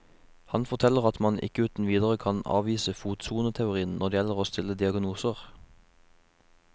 Han forteller at man ikke uten videre kan avvise fotsoneteorien når det gjelder å stille diagnoser.